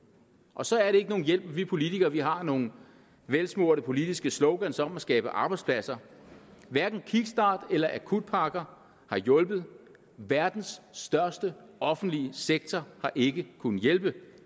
og så er det ikke nogen hjælp at vi politikere har nogle velsmurte politiske slogans om at skabe arbejdspladser hverken kickstart eller akutpakker har hjulpet verdens største offentlige sektor har ikke kunnet hjælpe